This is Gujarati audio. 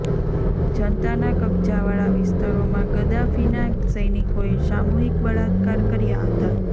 જનતાના કબજાવાળા વિસ્તારોમાં ગદ્દાફીના સૈનિકોએ સામૂહિક બળાત્કાર કર્યા હતા